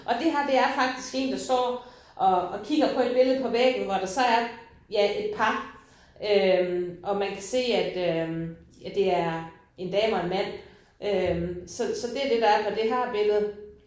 Og det her der er faktisk én der står og og kigger på et billede på væggen hvor der så er ja et par øh og man kan se at øh at det er en dame og en mand øh så så det det der er på det her billede